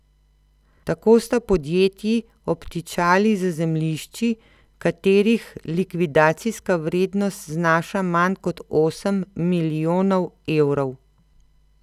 Tako sta podjetji obtičali z zemljišči, katerih likvidacijska vrednost znaša manj kot osem milijonov evrov.